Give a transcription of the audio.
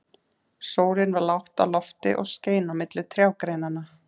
Sólin var lágt á lofti og skein á milli trjágreinanna.